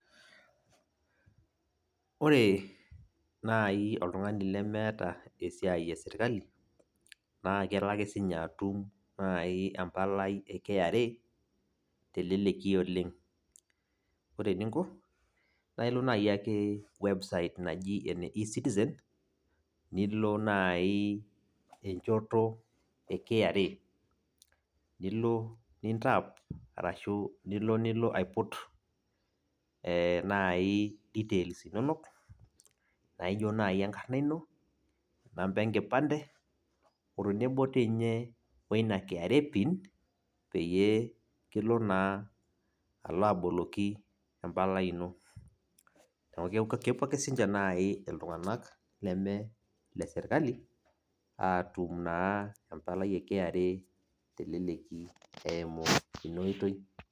Ore naai oltung'ani lemeeta esiai esirkali naa kelo ake naaji sininye atum empalai e KRA teleleki oleng ore eninko naa ilo naaji ake website naji ene ezitizen e KRA nilo nilo aiput eee naaji details inonok naaijio naaji enkarna ino inamba enkipande otenebo doi ninye weina KRA pin peyie kilo naa alo aboloki empalai ino neeku kepuo ake naaji siininche iltung'anak leme ilesirkali aatum naa empalai e KRA teleleki eimu ina oitoi.